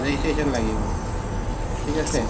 registration লাগি গʼল ঠিক আছে